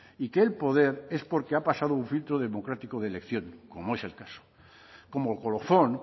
y que el poder es porque ha pasado un filtro democrático de elección como es el caso como colofón